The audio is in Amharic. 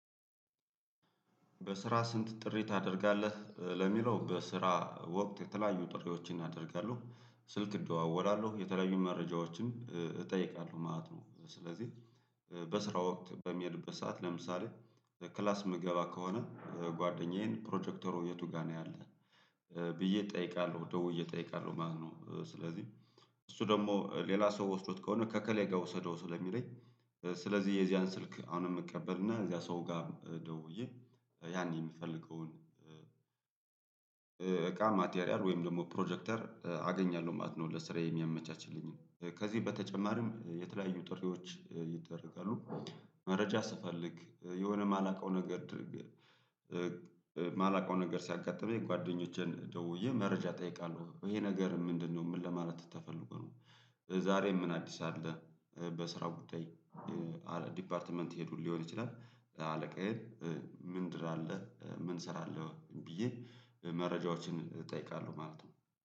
በስራ? ስንት ጥሪ ታደርጋለህ ለሚለው በስራ ወቅት የተለያዩ ጥሪዎችን ያደርጋለሉ ስልክ እደዋወላለሁ የተለያዩን መረጃዎችን እጠይቃለሁ ማለት ነው። ስለዚህ በስራ ወቅት በሚሄድበት ሰዓት ለምሳሌ ክላስ ምግባ ከሆነ ጓደኛዬን ፕሮጀክተሩ የቱ ጋር ነው ያለ። ብዬ እጠይቃለሁ ደውዬ እጠይቃለሁ ማለት ነው። ስለዚህ እሱ ደግሞ ሌላ ሰው ወስዶት ከሆነ ከኤከሌ ጋር ውሰደው ስለሚለኝ ስለዚህ የዚያን ስልክ አሁንም እቀቀበል እና እዚያ ሰው ጋር ደውዬ ያኔ የምፈልገውን እቃ ማቴሪያል ወይም ደግሞ ፕሮጀክተር አገኛለሁ ማለት ነው። ለስራዬ የሚያመቻችልኝ ከዚህ በተጨማሪም የተለያዩ ጥሪዎች ይደረጋሉ። መረጃ ስፈልግ የሆነ የማላውቀው ነገር የማላውቀው ነገር ሲያጋጥመኝ ጓደኞቼን ደውዬ መረጃ እጠይቃለሁ ይሄ ነገር ምንድነው ምን ለማለት ተፈልጎ ነው። ዛሬም ምን አዲስ አለ። በስራው ጉዳይ ዲፓርትመንት ሄዱን ሊሆን ይችላል። አለቃዬ ምንድር አለ ምን ስራ አለ ወይ ብዬ? መረጃዎችን እጠይቃለሁ ማለት ነው